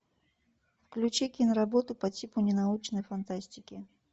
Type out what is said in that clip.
включи киноработу по типу ненаучной фантастики